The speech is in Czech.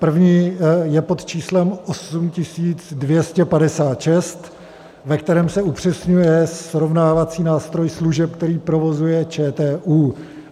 První je pod číslem 8256, ve kterém se upřesňuje srovnávací nástroj služeb, které provozuje ČTÚ.